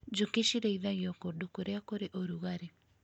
Njũki cirĩithagio kũndũ kũrĩa kũrĩ ũrugarĩ.